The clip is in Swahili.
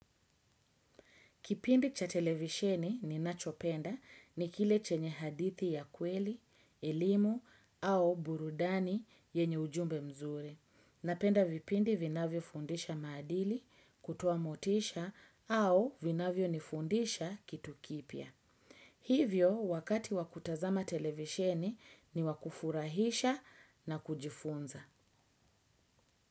Kipindi cha televisheni ni nachopenda ni kile chenye hadithi ya kweli, elimu au burudani yenye ujumbe mzuri. Napenda vipindi vinavyo fundisha maadili, kutoamotisha au vinavyo nifundisha kitu kipya. Hivyo wakati wakutazama televisheni ni wakufurahisha na kujifunza.